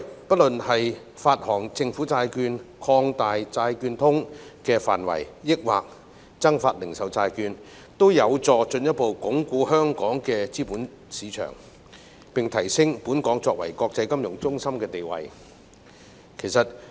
不論發行政府債券、擴大"債券通"的範圍，還是增發零售債券，均有助進一步鞏固香港的資本市場，並提升香港作為國際金融中心的地位。